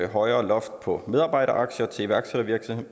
højere loft på medarbejderaktier til iværksættervirksomheder